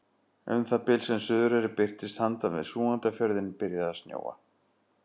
Um það bil sem Suðureyri birtist handan við Súgandafjörðinn byrjaði að snjóa.